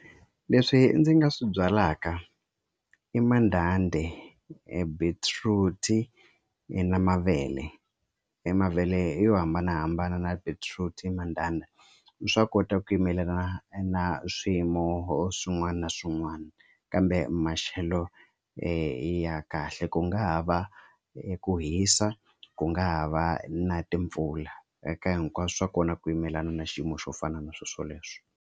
Leswi ndzi nga swi byalaka i mandhandhi, beetroot i na mavele i mavele yo hambanahambana na beetroot mandhandha swa kota ku yimelelana na swiyimo swin'wana na swin'wana kambe maxelo ya kahle ku nga ha va ku hisa ku nga ha va na timpfula eka hinkwaswo swa kona ku yimelelana na xiyimo xo fana na swilo swoleswo.